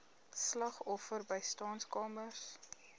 slagoffer bystandskamers